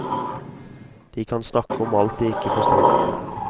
De kan snakke om alt de ikke forstår.